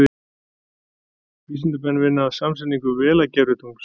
Vísindamenn vinna að samsetningu Vela-gervitungls.